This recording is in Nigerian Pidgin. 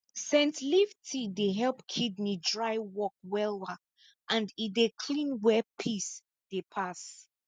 scent leaf tea dey help kidney dry work wella and e dey clean where piss dey pass